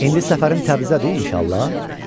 İndi səfərin Təbrizədir inşallah?